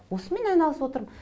осымен айналысып отырмын